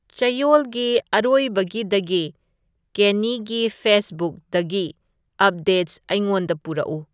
ꯆꯌꯣꯜꯒꯤ ꯑꯔꯣꯏꯕꯒꯤꯗꯒꯤ ꯀꯦꯟꯅꯤꯒꯤ ꯐꯦꯁꯕꯨꯛꯗꯒꯤ ꯑꯞꯗꯦꯠꯁ ꯑꯩꯉꯣꯟꯗ ꯄꯨꯔꯛꯎ